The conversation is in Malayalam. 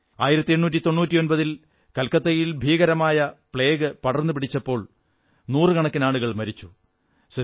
1899 ൽ കൽക്കത്തയിൽ ഭീകരമായ പ്ലേഗ് പടർന്നു പിടിച്ചപ്പോൾ നൂറുക്കണക്കിനാളുകൾ മരിച്ചു